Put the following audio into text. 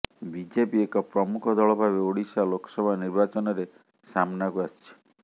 BJP ଏକ ପ୍ରମୁଖ ଦଳ ଭାବେ ଓଡିଶା ଲୋକସଭା ନିର୍ବାଚନରେ ସାମ୍ନାକୁ ଆସିଛି